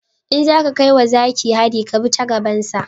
In zaka kai wa zaki hari ka bi ta gaban sa